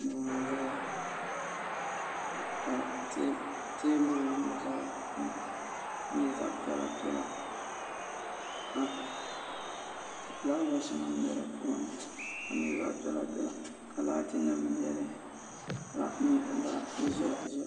Duu n ʒɛya ka teebuli nim ʒɛ di puuni ka nyɛ zaɣ piɛla piɛla ka fulaawaasi nim bɛ di puuni ka nyɛ zaɣ piɛla piɛla ka laati nim biɛni ka nyɛ zaɣ ʒiɛhi ʒiɛhi